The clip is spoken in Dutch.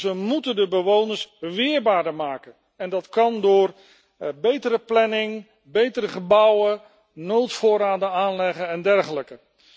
Dus we moeten de bewoners weerbaarder maken en dat kan door betere planning, betere gebouwen, noodvoorraden aanleggen en dergelijke.